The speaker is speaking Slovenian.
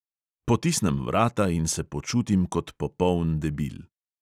Potisnem vrata in se počutim kot popoln debil.